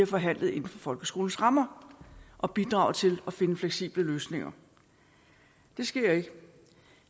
forhandlet inden for folkeskolens rammer og bidraget til at finde fleksible løsninger det sker ikke